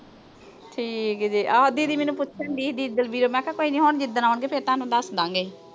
ਠੀਕ ਜੇ। ਆਹੋ didi ਮੈਨੂੰ ਪੁੱਛਣ ਡਈ ਸੀ। didi ਦਲਬੀਰ। ਮੈਂ ਕਿਆ ਹੁਣ ਜਿੱਦਣ ਆਉਣ ਗੇ ਤੁਹਾਨੂੰ ਦੱਸ ਦਾਂ ਗੇ।